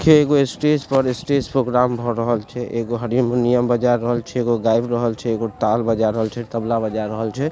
छै एगो स्टेज पर स्टेज पर प्रोग्राम भए रहल छै एगो हरिमुनियम बजा रहल छै एगो गाएब रहल छै एगो ताल बजा रहल छै तबला बजा रहल छै।